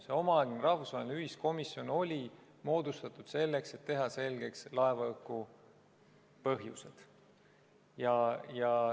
See omaaegne rahvusvaheline ühiskomisjon oli moodustatud selleks, et teha selgeks laevahuku põhjused.